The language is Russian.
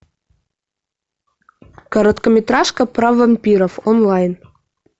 короткометражка про вампиров онлайн